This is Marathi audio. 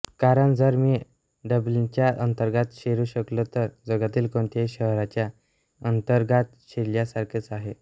कारण जर मी डब्लिनच्या अंतरंगात शिरू शकलो तर जगातील कोणत्याही शहराच्या अंतरंगात शिरल्यासारखेच आहे